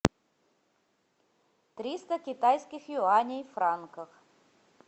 триста китайских юаней в франках